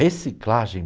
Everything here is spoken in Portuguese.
Reciclagem.